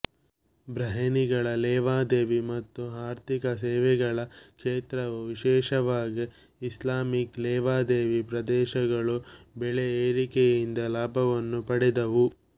ಬಹ್ರೇನಿಗಳ ಲೇವಾದೇವಿ ಮತ್ತು ಆರ್ಥಿಕ ಸೇವೆಗಳ ಕ್ಷೇತ್ರವು ವಿಶೇಷವಾಗಿ ಇಸ್ಲಾಮಿಕ್ ಲೇವಾದೇವಿ ಪ್ರದೇಶಗಳು ಬೆಲೆ ಏರಿಕೆಯಿಂದ ಲಾಭವನ್ನು ಪಡೆದವು